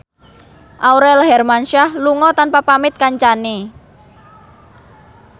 Aurel Hermansyah lunga tanpa pamit kancane